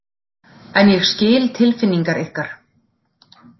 En ég skil tilfinningar ykkar.